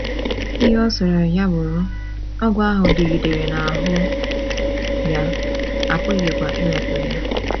Ihe ọ sọrọ ya bụrụ, ogwu ahụ dịgidere n’ahụ́ ya, a pụghịkwa iwepụ ya.